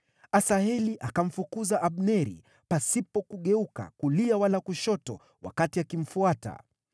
Asaheli akamfukuza Abneri, pasipo kugeuka kulia wala kushoto wakati akimfuata.